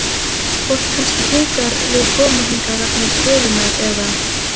Fólk kannski hikar við koma hingað vegna stöðunnar eða?